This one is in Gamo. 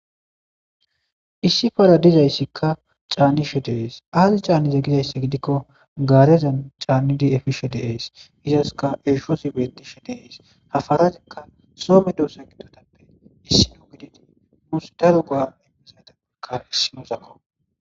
Issi para dizayssikka caannishe deees aazi caannize gizayssi gidikko gaarezan caannidi efishe deees gizaska eeshoosi bettishe deeys hafarazikka soome doosa gidotappe issi no gididi musdaro goa immizaydae kaissinoosakko